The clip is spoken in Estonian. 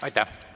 Aitäh!